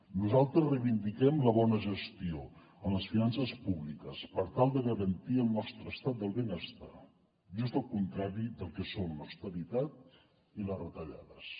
nosaltres reivindiquem la bona gestió en les finances públiques per tal de garantir el nostre estat del benestar just al contrari del que són l’austeritat i les retallades